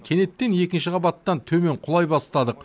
кенеттен екінші қабаттан төмен құлай бастадық